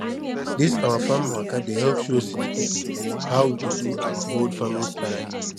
this our farm waka dey help show city people how we dey do our old farming style